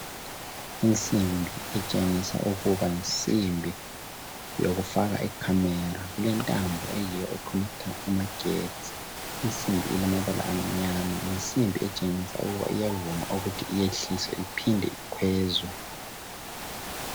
Insimbi etshengisa ukuba yinsimbi yokufaka icamera ilentambo eyiyo econnecter amagetsi , insimbi elamabala amnyama yinsimbi etshengisa ukuba iyavuma ukuthi iyehliswe iphinde ikhwezwe .